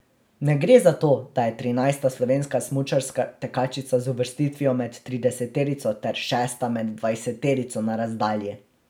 Ne gre za to, da je trinajsta slovenska smučarska tekačica z uvrstitvijo med trideseterico ter šesta med dvajseterico na razdalji.